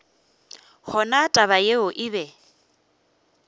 gona taba yeo e be